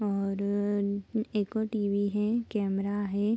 और अ एक और टी.वी. है कैमरा है।